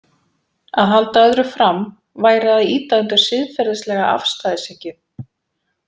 Að halda öðru fram væri að ýta undir siðferðislega afstæðishyggju.